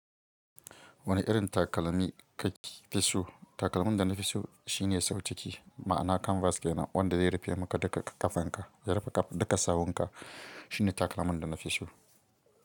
Wani irin takalami ka fi so? Takalmin da na fi so, shine sau ciki, ma'ana kanvas ke nan wanda zai rufe muka duka ƙafanka, ya rufe duka sawunka. Shine takalmin da na fi so.